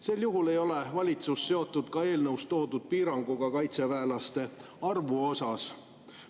Sel juhul ei ole valitsus seotud ka eelnõus toodud piiranguga kaitseväelaste arvu osas.